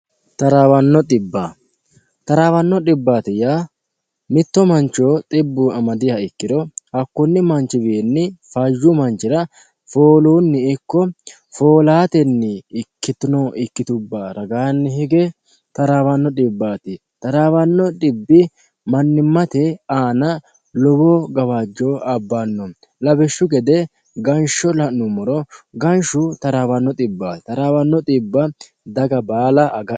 taraawanno dbiba taraawanno dhibbaati yaa mitto mancho xibbu amadiha ikkiro hakkunni manchiwiinni fayu manchira fooluunni ikko foolaatenni ikkitino ikkitubba ragaanni hige taraawanno xibbaati taraawanno xibbi mannimmate aana lowo gawaajjo abbanno labishshu gede gansho la'nummoro ganshu taraawanno dhibbaati taraawanno dhibba daga baala agadha.